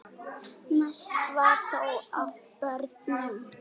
Mest var þó af börnum.